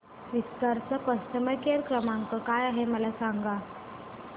विस्तार चा customer care क्रमांक काय आहे मला सांगा